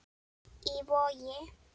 Í Vogi.